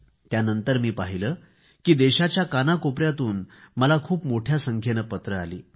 यानंतर मी पाहिले की देशाच्या कानाकोपऱ्याततून मला खूप मोठ्या संख्येने पत्रे आली